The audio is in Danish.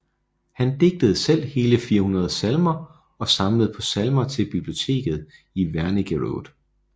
Han digtede selv hele 400 salmer og samlede på salmer til biblioteket i Wernigerode